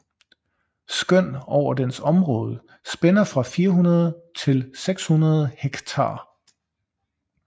Skøn over dens område spænder fra 400 til 600 hektar